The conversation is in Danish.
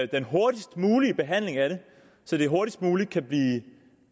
den hurtigst mulige behandling af det så det hurtigst muligt kan blive